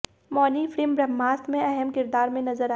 Mauni film Brahmastra में अहम किरदार में नजर आएंगी